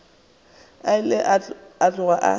o ile a tloga a